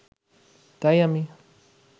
তাই আমি